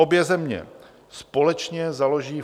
Obě země společně založí